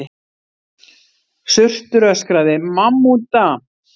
Surtur öskraði: MAMMÚTA!